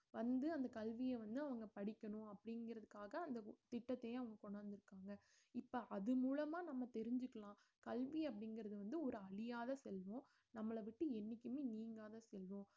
வந்து அந்த கல்வியை வந்து அவங்க படிக்கணும் அப்படிங்கிறதுக்காக அந்த திட்டத்தையும் அவங்க கொண்டு வந்திருக்காங்க இப்ப அது மூலமா நம்ம தெரிஞ்சுக்கலாம் கல்வி அப்படிங்கறது வந்து ஒரு அழியாத செல்வம் நம்மளை விட்டு என்னைக்குமே நீங்காத செல்வம்